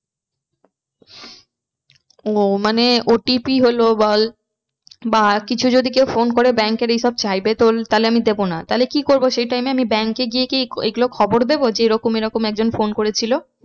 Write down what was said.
ও মানে OTP হলো বল বা কিছু যদি কেউ phone করে bank এর এইসব চাইবে তো তাহলে আমি দেবো না। তাহলে আমি কি করবো সেই time এ আমি bank এ গিয়ে কি এইগুলো খবর দেবো যে এরকম এরকম একজন phone করেছিল।